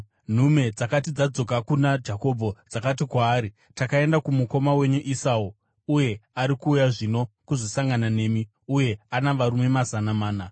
Nhume dzakati dzadzoka kuna Jakobho, dzakati kwaari, “Takaenda kumukoma wenyu Esau, uye ari kuuya zvino kuzosangana nemi, uye ana varume mazana mana.”